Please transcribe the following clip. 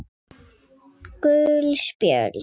Gul spjöld